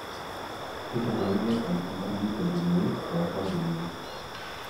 kitubuluni ilukunguni te nkumoi too nkampunini